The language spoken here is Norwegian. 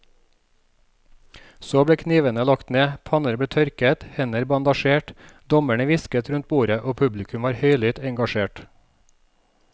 Så ble knivene lagt ned, panner ble tørket, hender bandasjert, dommerne hvisket rundt bordet og publikum var høylytt engasjert.